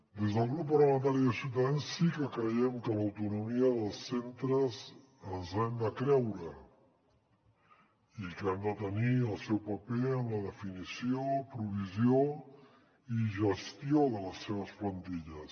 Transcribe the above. des del grup parlamentari de ciutadans sí que creiem que l’autonomia dels centres ens l’hem de creure i que han de tenir el seu paper en la definició provisió i gestió de les seves plantilles